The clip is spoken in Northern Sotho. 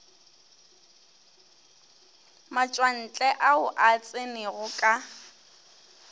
matšwantle ao a tsenego ka